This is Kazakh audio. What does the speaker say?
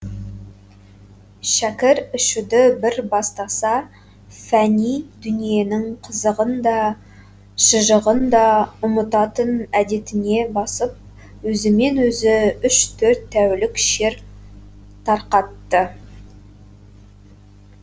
шәкір ішуді бір бастаса фәни дүниенің қызығын да шыжығын да ұмытатын әдетіне басып өзімен өзі үш төрт тәулік шер тарқатты